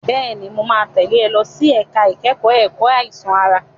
Bẹ́ẹ̀ni, mo máa tẹ̀lé ọ lọ sí ẹ̀ka ìkẹ́kọ̀ọ́ ẹ̀kọ́ àìsàn ara.